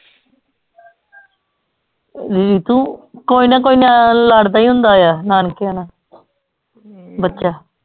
ਹਮ ਤੂੰ ਕੋਇਨਾ ਕੋਇਨਾ ਤਾਂ ਲੜਦਾ ਈ ਹੁੰਦਾ ਆ ਨਾਨਕਿਆਂ ਨਾਲ ਬੱਚਾ